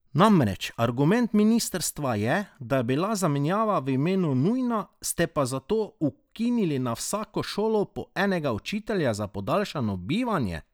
Namreč argument ministrstva je, da je bila zamenjava v imenu nujna, ste pa zato ukinili na vsako šolo po enega učitelja za podaljšano bivanje!